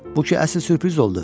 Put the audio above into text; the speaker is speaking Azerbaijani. Bu ki əsl sürpriz oldu.